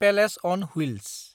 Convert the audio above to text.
palace on wheels